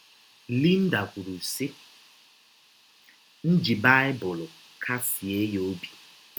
Linda kwụrụ, sị: “ M ji Baịbụl kasie ya ọbi.